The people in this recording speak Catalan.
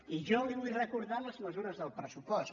i jo li vull recordar les mesures del pressupost